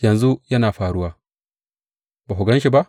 Yanzu yana faruwa; ba ku gan shi ba?